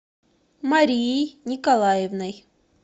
марией николаевной